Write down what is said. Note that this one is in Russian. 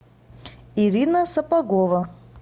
ирина сапогова